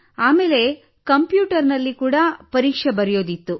ಆಮೇಲೆ ಕಂಪ್ಯೂಟರಿನಲ್ಲಿ ಕೂಡ ಪರೀಕ್ಷೆ ಬರೆಯುವುದಿತ್ತು